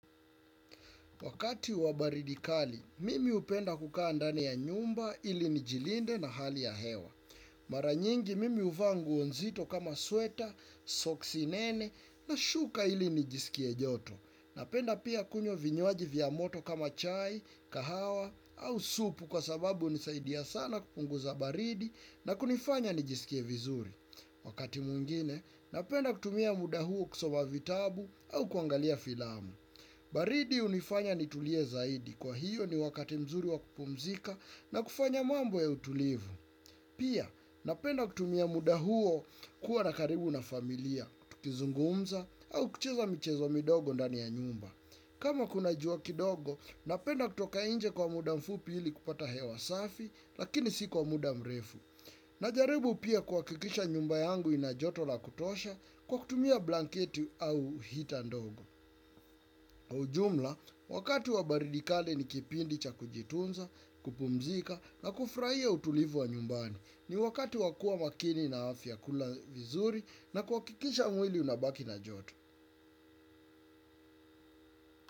Wakati wa baridi kali, mimi hupenda kukaa ndani ya nyumba ili nijilinde na hali ya hewa. Mara nyingi mimi huvaa nguo nzito kama sweta, soksi nene na shuka ili nijisikie joto. Napenda pia kunywa vinywaji vya moto kama chai, kahawa au supu kwa sababu hunisaidia sana kupunguza baridi na kunifanya nijisikie vizuri. Wakati mwingine, napenda kutumia muda huo kusoma vitabu au kuangalia filamu. Baridi hunifanya nitulie zaidi kwa hiyo ni wakati mzuri wa kupumzika na kufanya mambo ya utulivu. Pia napenda kutumia muda huo kuwa na karibu na familia, kuzungumza au kucheza michezo midogo ndani ya nyumba. Kama kuna jua kidogo, napenda kutoka nje kwa muda mfupi ili kupata hewa safi lakini si kwa muda mrefu. Na jaribu pia kuhakikisha nyumba yangu ina joto la kutosha kwa kutumia blanketi au hita ndogo. Kwa ujumla, wakati wa baridi kali ni kipindi cha kujitunza, kupumzika na kufurahia utulivu wa nyumbani. Ni wakati wa kuwa makini na afya kula vizuri na kuhakikisha mwili unabaki na joto.